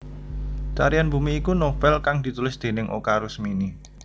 Tarian Bumi iku novèl kang ditulis déning Oka Rusmini